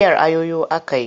Miyar ayoyo aka yi.